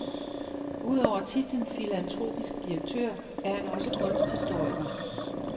Udover titlen filantropisk direktør er han også kunsthistoriker.